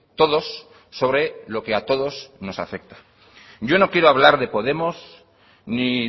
todos sobre lo que a todos nos afecta yo no quiero hablar de podemos ni